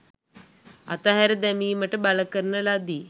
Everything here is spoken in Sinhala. අතහැර දැමීමට බලකරන ලදී.